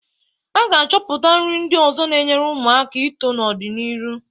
A ga-achọpụta nri ndị ọzọ na-enyere ụmụaka aka ito n'ọ dị n'iru.